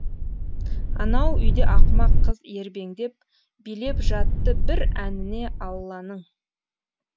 анау үйде ақымақ қыз ербеңдеп билеп жатты бір әніне алланың